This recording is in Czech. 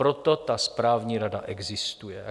Proto ta správní rada existuje.